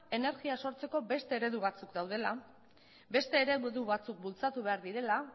energia lortzeko beste eredu batzuk daudela beste eredu batzuk bultzatu behar direla